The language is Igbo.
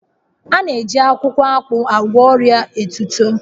A na-eji akwukwo akpu agwọ ọria etito